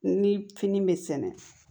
Ni fini bɛ sɛnɛ